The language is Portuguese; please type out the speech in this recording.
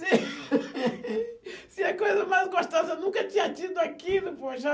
Se a coisa mais gostosa, eu nunca tinha tido aquilo, poxa.